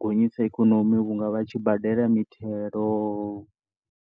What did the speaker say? gonyisa ikonomi vhunga vha tshi badela mithelo.